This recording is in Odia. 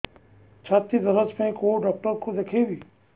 ଛାତି ଦରଜ ପାଇଁ କୋଉ ଡକ୍ଟର କୁ ଦେଖେଇବି